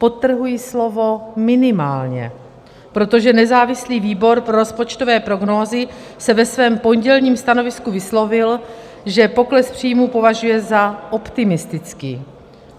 Podtrhuji slovo minimálně, protože nezávislý výbor pro rozpočtové prognózy se ve svém pondělním stanovisku vyslovil, že pokles příjmů považuje za optimistický.